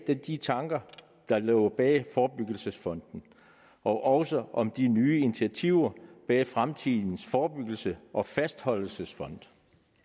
de tanker der lå bag forebyggelsesfonden og også om de nye initiativer bag fremtidens forebyggelses og fastholdelsesfond